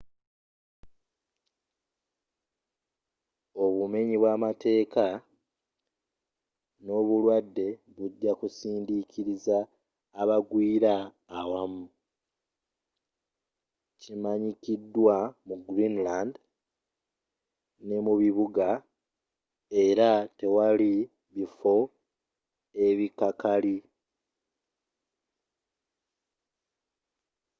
obumenyi bwa mateeka n’obulwadde bijja kusindikiriza abagwira awamu kimanyikidwa mu greenland. ne mu bibuga era tewali bifo ebikakali.